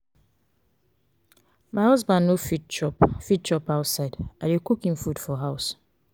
my husband no fit chop fit chop outside i dey cook im food for house.